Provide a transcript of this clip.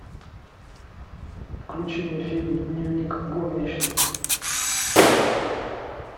включи мне фильм дневник горничной